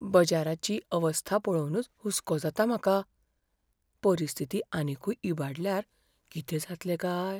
बजाराची अवस्था पळोवनूच हुस्को जाता म्हाका? परिस्थिती आनीकूय इबाडल्यार कितें जातलें काय?